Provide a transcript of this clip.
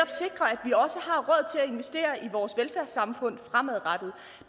investere i vores velfærdssamfund fremadrettet